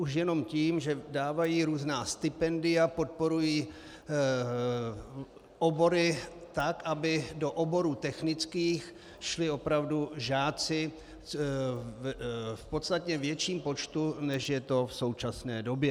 Už jenom tím, že dávají různá stipendia, podporují obory tak, aby do oborů technických šli opravdu žáci v podstatně větším počtu, než je tomu v současné době.